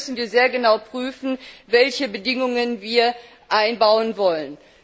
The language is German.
Auch hier müssen wir sehr genau prüfen, welche Bedingungen wir einbauen wollen.